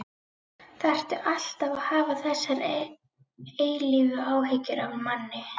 ÞARFTU ALLTAF AÐ HAFA ÞESSAR EILÍFU ÁHYGGJUR AF MANNI.